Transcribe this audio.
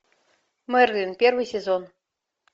мерлин первый сезон